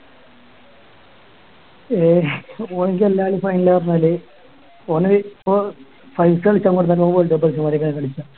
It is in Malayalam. ഏഹ് ഓന്ക്ക് എല്ലാ കളിയും final ആ പറഞ്ഞാല് ഓന് ഇപ്പൊ size കളിയ്ക്കാൻ കൊടുത്താലും ഓൻ മാതിരി തന്നെ കളിക്കാ